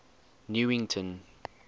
newington